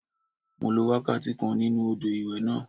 Mo lo wákàtí kan nínú odò ìwẹ̀ náà